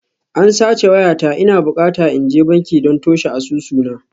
An sace wayata, ina bukata in je banki don toshe asusuna